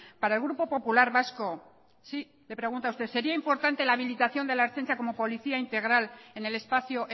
para el grupo popular vasco sí le pregunto a usted sería importante la habilitación de la ertzaintza como policía integral en el espacio